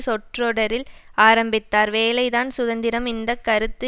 சொற்றொடரில் ஆரம்பித்தார் வேலைதான் சுதந்திரம் இந்த கருத்து